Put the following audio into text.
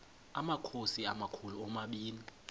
amakhosi amakhulu omabini